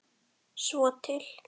Svo til?